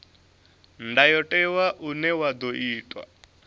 ndayotewa une wa ḓo itwa